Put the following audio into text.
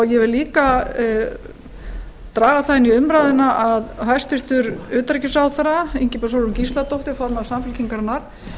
ég vil líka draga það inn í umræðuna að hæstvirtur utanríkisráðherra ingibjörg sólrún gísladóttir formaður samfylkingarinnar